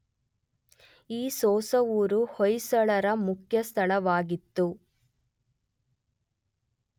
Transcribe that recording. ಈ ಸೊಸವೂರು ಹೊಯ್ಸಳರ ಮೂಲಸ್ಥಾನವಾಗಿತ್ತು.